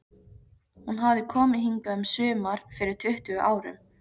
Hún hafði komið hingað um sumar fyrir tuttugu árum.